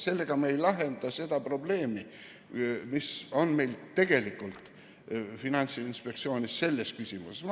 Sellega me ei lahenda seda probleemi, mis meil tegelikult Finantsinspektsioonis selle küsimusega seoses on.